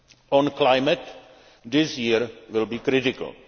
agenda. On climate, this year will be